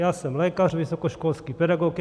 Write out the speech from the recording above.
Já jsem lékař, vysokoškolský pedagog.